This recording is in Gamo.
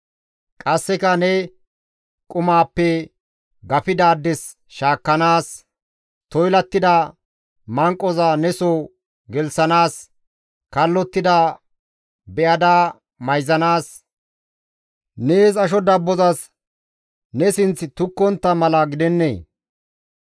Qasseka ne qumaappe gafidaades shaakkanaas, toylattida manqoza neso gelththanaas, kallottida be7ada mayzanaas, nees asho dabbozas ne sinththi ne tukkontta mala gidennee?